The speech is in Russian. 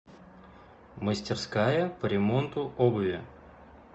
мастерская по ремонту обуви